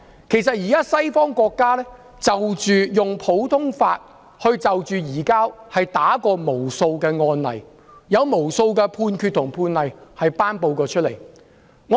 其實，西方國家在普通法制度下，已處理無數移交逃犯的案例，並頒布無數判決。